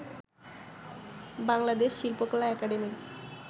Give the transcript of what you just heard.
বাংলাদেশ শিল্পকলা একাডেমীর